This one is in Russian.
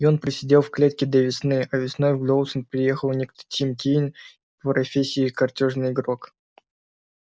и он просидел в клетке до весны а весной в доусон приехал некто тим кинен по профессии картёжный игрок